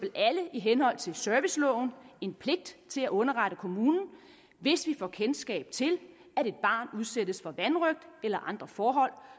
alle i henhold til serviceloven en pligt til at underrette kommunen hvis vi får kendskab til at et barn udsættes for vanrøgt eller andre forhold